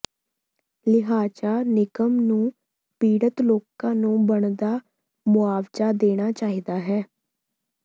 ਲਿਹਾਜ਼ਾ ਨਿਗਮ ਨੂੰ ਪੀੜਤ ਲੋਕਾਂ ਨੂੰ ਬਣਦਾ ਮੁਆਵਜਾ ਦੇਣਾ ਚਾਹੀਦਾ ਹੈ